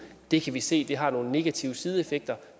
det kan vi se har nogle negative sideeffekter